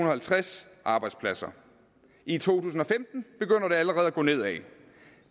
halvtreds arbejdspladser i to tusind og femten begynder det allerede at gå nedad